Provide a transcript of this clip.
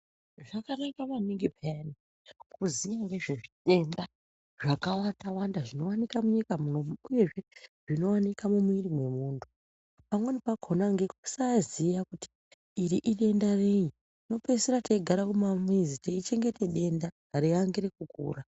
Zvakanaka maningi peyani kuziya ngezvedenda zvakawanda wanda zvinowanika munyika munomu uyezve zvinowanika mumwiri mwemunthu pamweni pakona nekusaziya kuti iri idenda rei tinopeisira teigare kumamizi teichengete denda reiangira kukura.